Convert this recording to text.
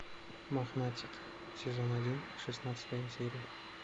мохнатики сезон один шестнадцатая серия